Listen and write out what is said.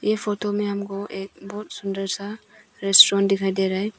यह फोटो में हमको एक बहुत सुंदर सा रेस्टोरेंट दिखाई दे रहा है।